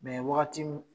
wagati min